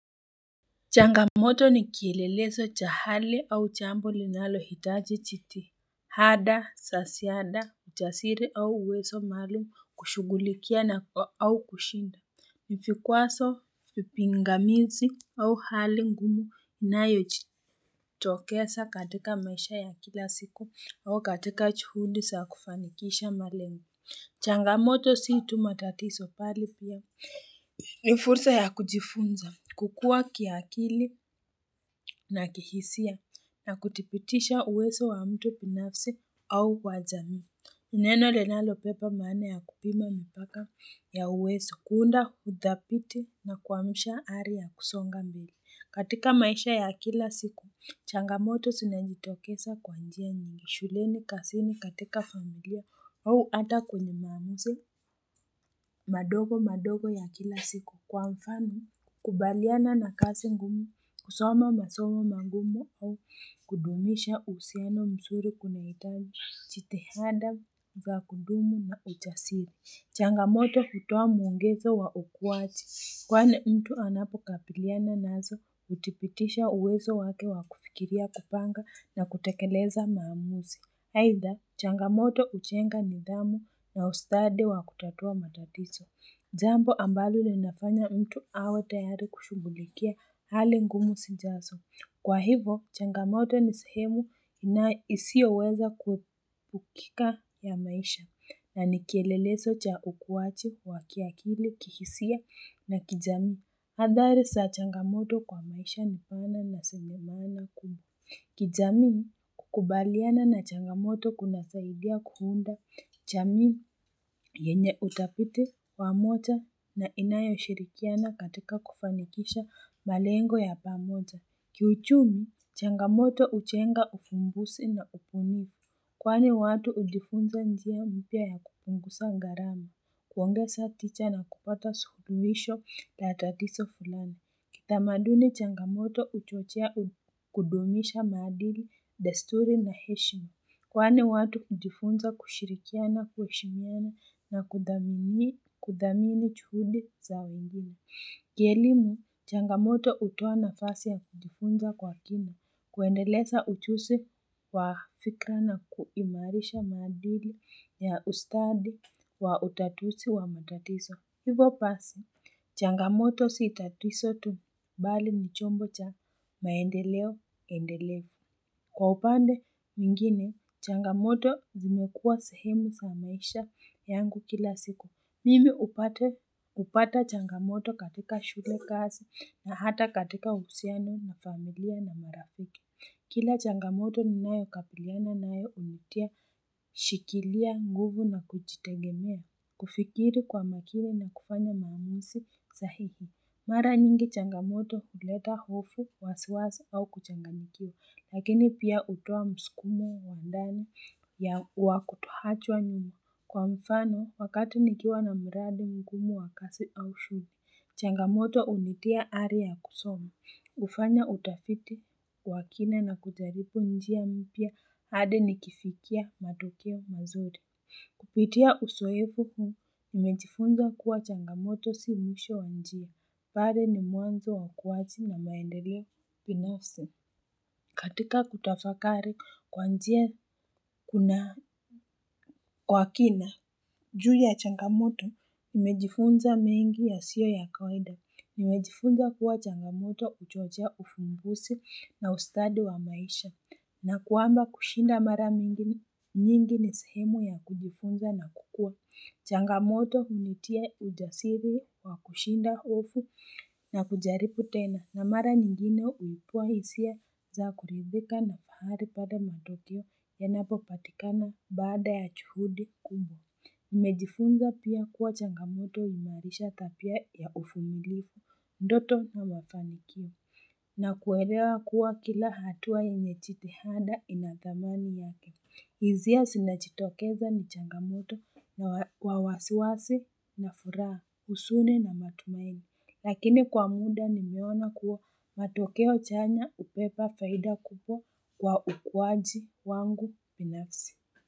Changamoto ni kiilelezo cha hali au jambo linalo hitaji chiti hada za siada uchasiri au uwezo malimu kushugulikia na au kushinda mifikuwaso vipi ngamizi au hali ngumu nayo jitokesa katika maisha ya kila siku au katika kuhundi za kufanikisha malingo changamoto sii tu matatizo bali pia ni fursa ya kujifunza, kukua kiakili na kihisia na kutipitisha uwezo wa mtu binafsi au wa jamii Neno ljnalo beba maana ya kupima mpaka ya uwezo, kuunda hudapiti na kuamusha hali ya kusonga mbili. Katika maisha ya kila siku, changamoto zinajitokesa kwa njia nyingi, shuleni kazini katika familia au ata kwenye mamuse madogo madogo ya kila siku. Kwa mfano, kubaliana na kasi ngumu, kusoma masomu magumu au kudumisha uhusiano msuri kuna itahiji jitihada, za kudumu na ujasiri. Changamoto hutoa mwongezo wa ukuwachi. Kwani mtu anapo kapiliana nazo, utipitisha uwezo wake wa kufikiria kupanga na kutekeleza maamuzi. Haidha, changamoto ujenga nidhamu na ustadi wa kutatua matatizo. Jambo ambalo linafanya mtu awe tayari kushughulikia hali ngumu sijazo. Kwa hivo, changamoto ni sehemu na isioweza kukika ya maisha na nikeleleso cha ukuwachi, wa kiakili, kihisia na kijami. Hadhari za changamoto kwa maisha nifana na zinawaza kubu. Kijami kukubaliana na changamoto kunasaidia kuunda jamii yenye utabiti wa moja na inayo shirikiana katika kufanikisha malengo ya pamoja kiuchumi changamoto hujenga ufumbusi na upunifu kwani watu udifunza njia mpya ya kupunguza gharama kuongeza ticha na kupata suluhisho la tatizo fulani tamaduni changamoto uchochea kudumisha maadili, desturi na heshima. Kwani watu ujifunza kushirikia na kueshimiana na kudhamini juhudi za wengine. Kielimu, changamoto utoa nafasi ya kudifunza kwa kina. Kuendeleza ujuzi wa fikra na kuimarisha madili ya ustadi wa utatusi wa matatiso. Hivo basi, changamoto si tatizo tu mbali ni chombo cha maendeleo, endeleo. Kwa upande mingine, changamoto zimekua sehemu za maisha yangu kila siku. Mimi upata changamoto katika shule kazi na hata katika uhusiano na familia na marafiki. Kila changamoto ninayo kabiliana nayo unitia shikilia nguvu na kujitegemea kufikiri kwa makili na kufanya maamuzi sahihi. Mara nyingi changamoto huleta hofu, wasiwasi au kuchangamikio, lakini pia utoa msukumo wa ndani ya wa kutoachwa nyumu. Kwa mfano, wakati nikiwa na mradi mgumu wa kasi au shumi, changamoto unitia hali kusomu. Kufanya utafiti kwa wa kina na kujaribu njia mpya hadi nikifikia matokeo mazuri. Kupitia uzoevu huu, nimejifunza kuwa changamoto si misho wa njia. Baade ni mwanzo wa kuwazi na maendeleo binafsi. Katika kutafakari kwa njia kuna kwa kina, juu ya changamoto, nimejifunza mengi ya sio ya kawaida. Mimejifunza kuwa changamoto ujojea ufumbusi na ustadi wa maisha na kuamba kushinda mara mingi nyingi ni sehemu ya kujifunza na kukua. Changamoto hunitia ujasiri wa kushinda hofu na kujaribu tena na mara nyingine uipua hisia za kurebika na pahari pada matotio ya napo patikana baada ya juhudi kubwa. Nimejifunza pia kuwa changamoto huimarisha tabia ya uvumiliku, ndoto na mafanikia na kuelewa kuwa kila hatua yenye chitihada ina thamani yake hisia zinachitokeza ni changamoto na kwa wasiwasi na furaha huzuni na matumaini Lakini kwa muda nimeona kuwa matokeo chanya ubeba faida kupo kwa ukuwaji wangu pinafsi.